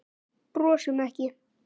Brosum ekki.